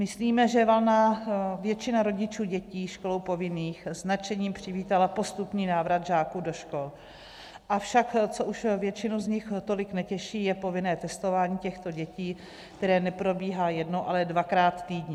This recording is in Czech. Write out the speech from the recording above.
Myslíme, že valná většina rodičů dětí školou povinných s nadšením přivítala postupný návrat žáků do škol, avšak co už většinu z nich tolik netěší, je povinné testování těchto dětí, které neprobíhá jednou, ale dvakrát týdně.